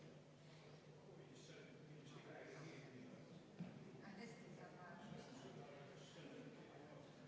11. muudatusettepanek, esitatud juhtivkomisjoni poolt, arvestatud täielikult.